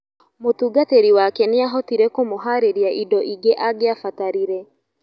Mũtungatĩri wake nĩahotire kũmũharĩria indo ingĩ angiabatarire.